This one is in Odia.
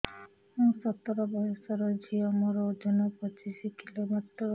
ମୁଁ ସତର ବୟସର ଝିଅ ମୋର ଓଜନ ପଚିଶି କିଲୋ ମାତ୍ର